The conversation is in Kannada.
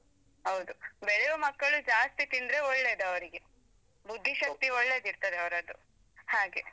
ಹೌದು ಬೆಳೆಯುವ ಮಕ್ಕಳು ಜಾಸ್ತಿ ತಿಂದ್ರೆ ಒಳ್ಳೇದ್ ಅವರಿಗೆ ಬುದ್ಧಿಶಕ್ತಿ ಒಳ್ಳೆದಿರ್ತದೆ ಅವರದ್ದು ಹಾಗೆ.